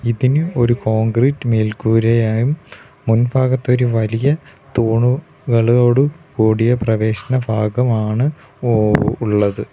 ഇതിന് ഒരു കോൺക്രീറ്റ് മേൽക്കൂരയായും മുൻഭാഗത്തൊരു വലിയ തൂണു കളോട് കൂടിയ പ്രവേശന ഭാഗമാണ് ഉ ഉള്ളത്.